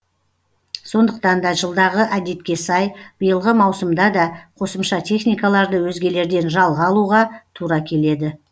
сондықтан да жылдағы әдетке сай биылғы маусымда да қосымша техникаларды өзгелерден жалға алуға тура келеді